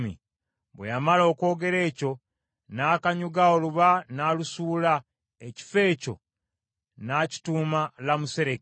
Bwe yamala okwogera ekyo, n’akanyuga oluba n’alusuula, ekifo ekyo n’akituuma Lamasuleki.